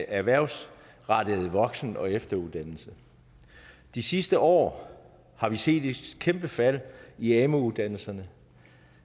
erhvervsrettet voksen og efteruddannelse de sidste år har vi set et kæmpe fald i amu uddannelserne